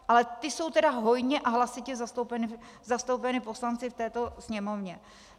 Ale ti jsou tedy hojně a hlasitě zastoupeni poslanci v této Sněmovně.